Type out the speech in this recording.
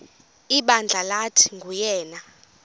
ibandla lathi nguyena